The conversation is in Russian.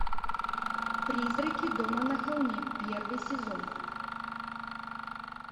призраки дома на холме первый сезон